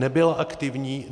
Nebyla aktivní.